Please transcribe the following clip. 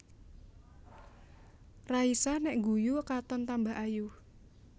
Raisa nek ngguyu katon tambah ayu